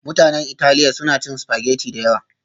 Mutanen Italiya suna cin spaghetti da yawa